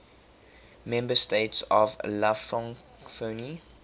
member states of la francophonie